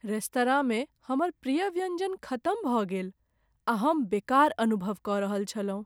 रेस्तराँमे हमर प्रिय व्यंजन खतम भऽ गेल आ हम बेकार अनुभव कऽ रहल छलहुँ ।